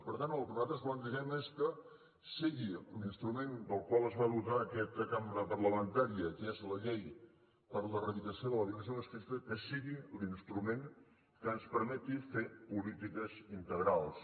per tant el que nosaltres plantegem és que sigui l’instrument del qual es va dotar aquesta cambra parlamentària que és la llei per a l’eradicació de la violència masclista que sigui l’instrument que ens permeti fer polítiques integrals